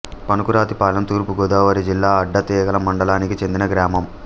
పనుకురాతిపాలెం తూర్పు గోదావరి జిల్లా అడ్డతీగల మండలానికి చెందిన గ్రామం